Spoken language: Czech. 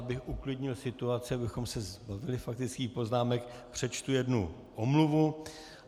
Abych uklidnil situaci, abychom se zbavili faktických poznámek, přečtu jednu omluvu.